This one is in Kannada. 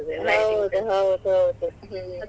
ಹೌದು ಹೌದೌದು ಹ್ಮ್.